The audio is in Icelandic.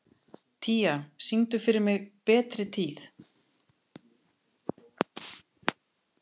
Tía, syngdu fyrir mig „Betri tíð“.